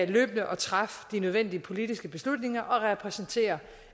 løbende at træffe de nødvendige politiske beslutninger og repræsentere